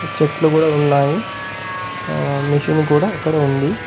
చెట్లు గూడా ఉన్నాయి. ఆ మిషీన్ కూడా అక్కడ ఉంది.